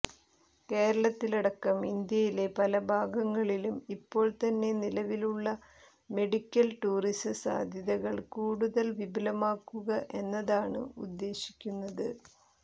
കേരളത്തിലടക്കം ഇന്ത്യയിലെ പല ഭാഗങ്ങളിലും ഇപ്പോൾ തന്നെ നിലവിലുള്ള മെഡിക്കൽ ടൂറിസ സാധ്യതകൾ കൂടുതൽ വിപുലമാക്കുക എന്നതാണ് ഉദ്ദേശിക്കുന്നത്